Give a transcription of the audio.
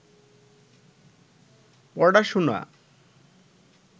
পড়াশুনা